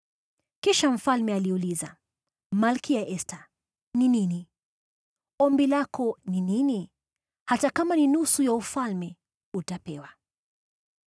Kisha mfalme aliuliza, “Malkia Esta, ni nini? Ombi lako ni nini? Hata kama ni nusu ya ufalme, utapewa.”